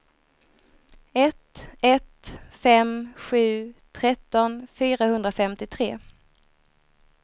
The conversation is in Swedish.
ett ett fem sju tretton fyrahundrafemtiotre